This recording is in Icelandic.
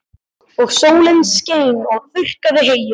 Og sólin skein og þurrkaði heyið.